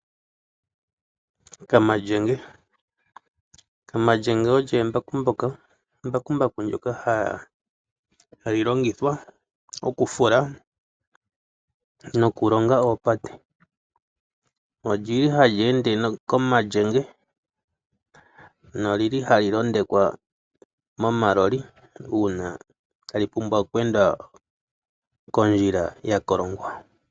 Kamalyenge embakumbaku ndyoka hali longithwa okufula nokulonga oopate. Ohali ende nomalyenge nohali londekwa momaloli uuna tali ende kondjila ya kolongwa.